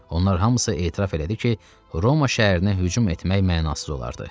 Onlar hamısı etiraf elədi ki, Roma şəhərinə hücum etmək mənasız olardı.